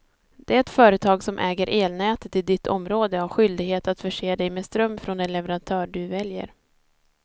Det företag som äger elnätet i ditt område har skyldighet att förse dig med ström från den leverantör du väljer.